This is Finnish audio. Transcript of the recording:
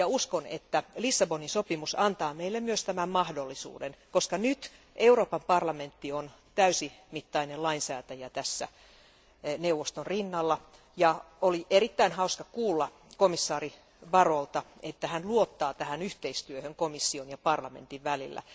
Uskon, että Lissabonin sopimus antaa meille myös tämän mahdollisuuden, koska nyt Euroopan parlamentti on täysimittainen lainsäätäjä neuvoston rinnalla, ja oli erittäin hauska kuulla komissaari Barrot'lta, että hän luottaa tähän yhteistyöhön komission ja parlamentin välillä.